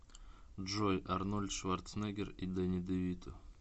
джой арнольд шварцнегер и дени девито